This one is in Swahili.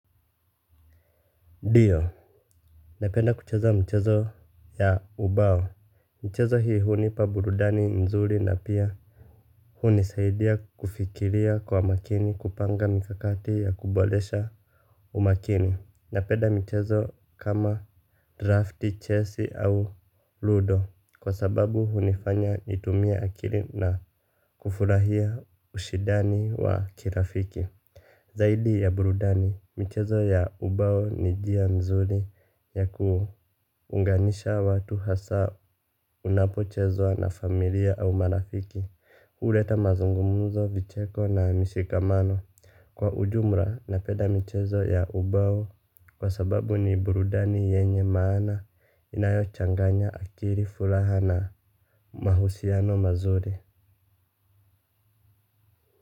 Ndio. Napenda kucheza mchezo ya ubao. Mchezo hii hunipa burudani mzuri na pia hunisaidia kufikiria kwa makini kupanga mikakati ya kuboresha umakini. Napenda michezo kama drafti, chesi au ludo. Kwa sababu hunifanya nitumie akili na kufurahia ushindani wa kirafiki. Zaidi ya burudani, michezo ya ubao ni njia mzuri ya kuunganisha watu hasa unapochezwa na familia au marafiki, huleta mazungumzo, vicheko na mishikamano. Kwa ujumla, napenda michezo ya ubao kwa sababu ni burudani yenye maana inayochanganya akili furaha na mahusiano mazuri.